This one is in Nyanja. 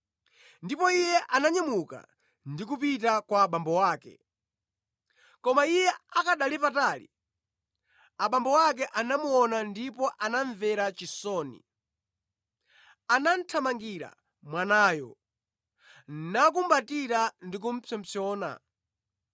Ndipo iye ananyamuka ndi kupita kwa abambo ake. “Koma iye akanali patali, abambo ake anamuona ndipo anamvera chisoni; anathamangira mwanayo, namukumbatira ndi kupsompsona.